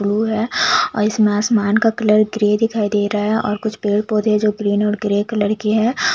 Blue है और इसमें आसमान का कलर ग्रे दिखाई दे रहा है और कुछ पेड़ पौधे जो ग्रीन और ग्रे कलर के है।